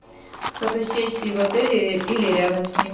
фотосессии в отеле или рядом с ним